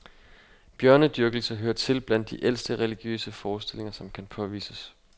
Bjørnedyrkelse hører til blandt de ældste religiøse forestillinger, som kan påvises.